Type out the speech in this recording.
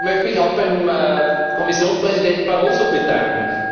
Ich möchte mich auch bei Kommissionspräsident Barroso bedanken.